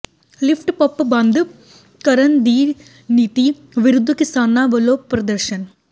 lift pump ਬੰਦ ਕਰਨ ਦੀ ਨੀਤੀ ਵਿਰੁੱਧ ਕਿਸਾਨਾਂ ਵੱਲੋਂ ਪ੍ਰਦਰਸ਼ਨ